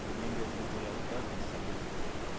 nyengedzedzo ya u ḓadzisa u